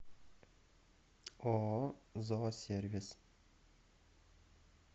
ооо зоосервис